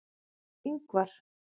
Ingvar